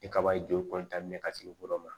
Ni kaba ye joli ka sigi yɔrɔ min ma